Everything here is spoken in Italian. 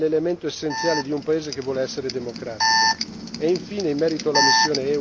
Una giustizia che funziona è l'elemento essenziale di un paese che vuole essere democratico.